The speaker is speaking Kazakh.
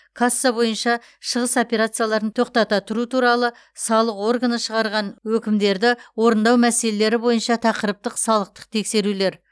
касса бойынша шығыс операцияларын тоқтата тұру туралы салық органы шығарған өкімдерді орындау мәселелері бойынша тақырыптық салықтық тексерулер